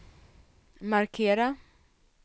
markera